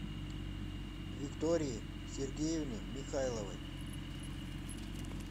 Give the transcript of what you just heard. виктории сергеевны михайловой